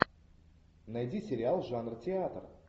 найди сериал жанр театр